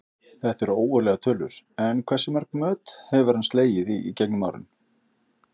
Þetta eru ógurlegar tölur, en hversu mörg met hefur hann slegið í gegnum árin?